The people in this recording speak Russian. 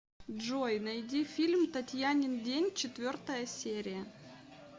джой найди фильм татьянин день четвертая серия